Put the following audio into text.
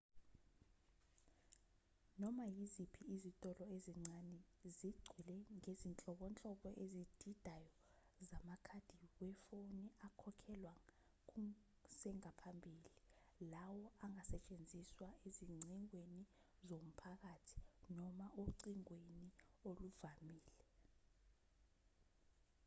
noma iziphi izitolo ezincane zigcwele ngezinhlobonhlobo ezididayo zamakhadi wefoni akhokhelwa kusengaphambili lawo angasetshenziswa ezingcingweni zomphakathi noma ocingweni oluvamile